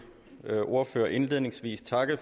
ordførere indledningsvis takke